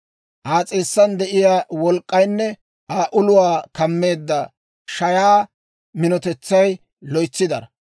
Aa s'eessan de'iyaa wolk'k'aynne Aa uluwaa kammeedda shayaa minotetsay loytsi daro.